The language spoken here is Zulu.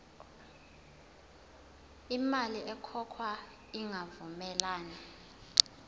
imali ekhokhwayo ingavumelani